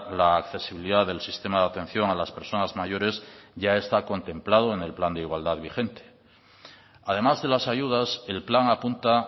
la accesibilidad del sistema de atención a las personas mayores ya está contemplado en el plan de igualdad vigente además de las ayudas el plan apunta